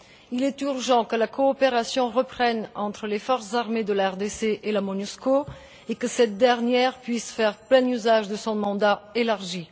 Il est urgent que la coopération reprenne entre les forces armées de la RDC et la Monusco et que cette dernière puisse faire plein usage de son mandat élargi.